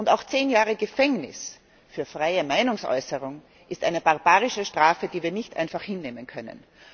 Auch zehn Jahre Gefängnis für freie Meinungsäußerung ist eine barbarische Strafe, die wir nicht einfach hinnehmen können.